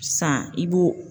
Sisan i b'o.